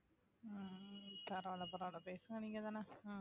அஹ் பரவாயில்லை பரவாயில்லை பேசுங்க நீங்கதானே